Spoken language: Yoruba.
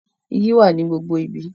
Igi wà ní gbogbo ibi.